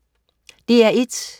DR1: